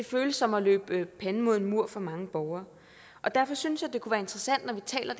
føles som at løbe panden mod en mur for mange borgere og derfor synes jeg det kunne være interessant når vi taler